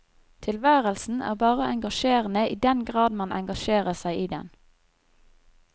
Tilværelsen er bare engasjerende i den grad man engasjerer seg i den.